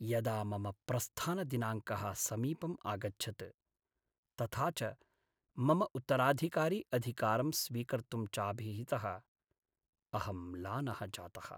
यदा मम प्रस्थानदिनाङ्कः समीपम् आगच्छत्, तथा च मम उत्तराधिकारी अधिकारं स्वीकर्तुं चाभिहितः, अहं म्लानः जातः।